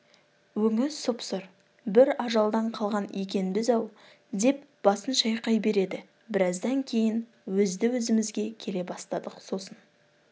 өңі сұп-сұр бір ажалдан қалған екенбіз-ау деп басын шайқай береді біраздан кейін өзді-өзімізге келе бастадық сосын